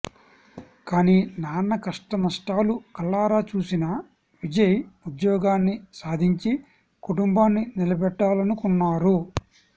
కానీ నాన్న కష్టనష్టాలు కళ్లారా చూసిన విజయ్ ఉద్యోగాన్ని సాధించి కుటుంబాన్ని నిలబెట్టాలనుకున్నారు